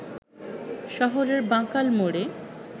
শহরের বাঁকাল মোড়ে